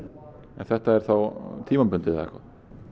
en þetta er þá tímabundið eða hvað